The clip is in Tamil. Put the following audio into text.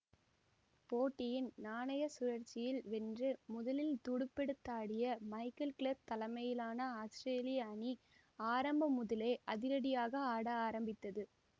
போட்டியின் நாணய சுழற்சியில் வென்று முதலில் துடுப்பெடுத்தாடிய மைக்கேல் கிளார்க் தலைமையிலான ஆத்திரேலிய அணி ஆரம்பம் முதலே அதிரடியாக ஆட ஆரம்பித்தது